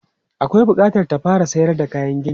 Akwai bukatar ta fara sayar da kayan gini.